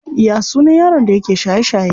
Ya sunan yaron da yake shaye shaye?